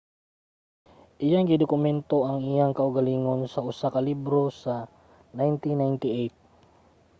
iyang gidokumento ang iyang kaugalingon sa usa ka libro sa 1998